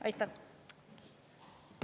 Aitäh!